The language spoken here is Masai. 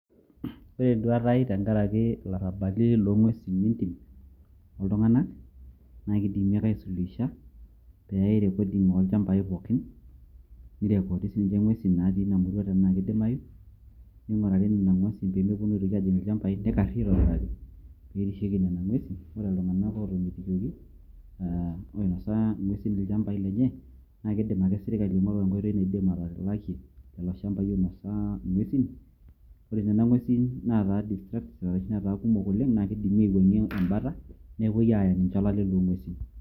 ore enduata ai tenkaraki ilarabali loo ng'uesin entim oltung'anak, naa keidimi ake aifundisha pee eyae recording oolchampai pookin, ni report sii ninche ing'uesi naatii inamurua tenaa kidimayu, ning'urari nena ng'uesi pee mepuonu aajing' ilchampai nikari aaitobiraki, pee erishieki nena ng'uesi, ore iltung'anak ootomitikiokoki, oinosa ing'uesin ilchampai lenye naa kidim ake sirkali aing'oru enkoitoi naaidim atalakie, lelo shampai oinosa ing'uesin, ore nena ng'uesin naataa kumok oleng',naa kidimi aiwuang'ie ebata, nepuoi aaya ninche olale loong'uesin.